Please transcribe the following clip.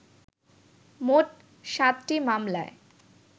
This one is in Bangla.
মোট সাতটি মামলায়